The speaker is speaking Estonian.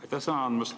Aitäh sõna andmast!